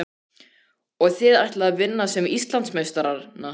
Og þið ætlið að vinna Íslandsmeistarana?